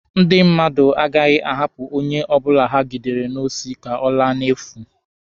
Ndị mmadụ agaghị ahapụ onye ọbụla ha gidere n'osi ka ọ laa n'efu